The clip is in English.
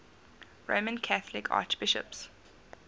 roman catholic archbishops